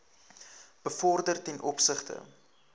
bevorder ten opsigte